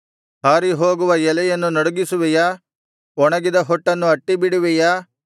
ಹಾರಿಹೋಗುವ ಎಲೆಯನ್ನು ನಡುಗಿಸುವಿಯಾ ಒಣಗಿದ ಹೊಟ್ಟನ್ನು ಅಟ್ಟಿಬಿಡುವಿಯಾ